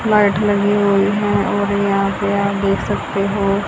mat लगी हुई हैं और यहां पर आप देख सकते हो--